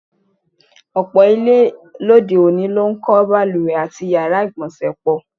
Ò̩pò̩ ilé lóde-òní ló ń kó̩ balùwè àti yàrá ìgbò̩nsè̩ pò̩.